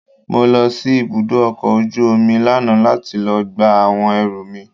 Mo lọ sí ibùdó ọkọ̀ ojú omi lánàá láti lọ gba àwọn ẹrù mi.